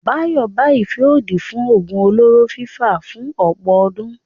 Dayọ̀ bá ìfẹ́ òdì fún oògùn olóró fíra fún ọ̀pọ̀ ọdún.